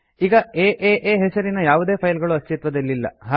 ಈಗ ಏಎ ಹೆಸರಿನ ಯಾವುದೇ ಫೈಲ್ ಗಳು ಅಸ್ತಿತ್ವದಲ್ಲಿಲ್ಲ